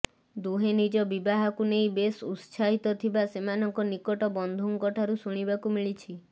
ଦୁହେଁ ନିଜ ବିବାହକୁ ନେଇ ବେଶ ଉତ୍ସାହିତ ଥିବା ସେମାନଙ୍କ ନିକଟ ବନ୍ଧୁଙ୍କ ଠାରୁ ଶୁଣିବାକୁ ମିଳିଛି